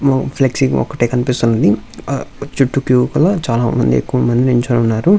Flexing ఒకటే కనిపిస్తూ ఉన్నది. చుట్టూ క్యూ లోపల చాలా ఎక్కువ మంది నించొని ఉన్నారు.